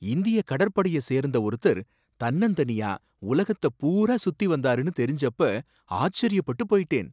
இந்தியக் கடற்படைய சேர்ந்த ஒருத்தர் தன்னந்தனியா உலகத்த பூரா சுத்திவந்தாருனு தெரிஞ்சப்ப ஆச்சரியப்பட்டு போயிட்டேன்.